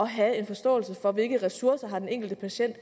have en forståelse for hvilke ressourcer den enkelte patient